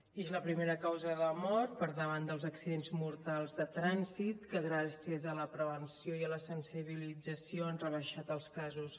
i és la primera causa de mort per davant dels accidents mortals de trànsit que gràcies a la prevenció i a la sensibilització han rebaixat els casos